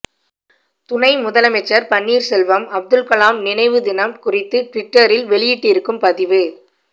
துணை முதலமைச்சர் பன்னீர்செல்வம் அப்துல்கலாம் நினைவு தினம் குறித்து ட்விட்டரில் வெளியிட்டிருக்கும் பதிவு